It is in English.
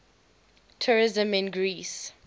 tourism in greece